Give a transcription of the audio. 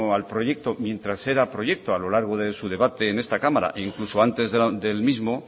al proyecto mientras era proyecto a lo largo de su debate en esta cámara e incluso antes del mismo